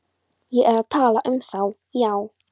Ég er að tala um þá, já.